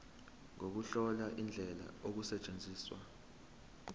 nokuhlola indlela okusetshenzwa